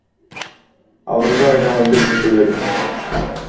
алдыңғы айда он бес мың төледік